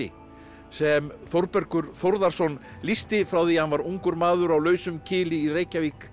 sem Þórbergur Þórðarson lýsti frá því hann var ungur maður á lausum kili í Reykjavík